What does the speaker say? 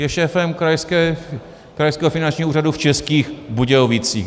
Je šéfem Krajského finančního úřadu v Českých Budějovicích.